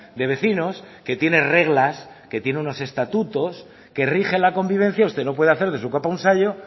de vecinos que tiene reglas que tienen unos estatutos que rige la convivencia usted no puede hacer de su capa un sayo